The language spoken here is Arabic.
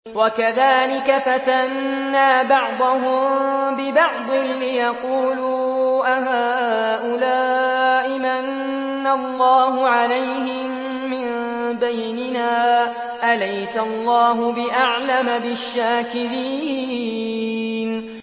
وَكَذَٰلِكَ فَتَنَّا بَعْضَهُم بِبَعْضٍ لِّيَقُولُوا أَهَٰؤُلَاءِ مَنَّ اللَّهُ عَلَيْهِم مِّن بَيْنِنَا ۗ أَلَيْسَ اللَّهُ بِأَعْلَمَ بِالشَّاكِرِينَ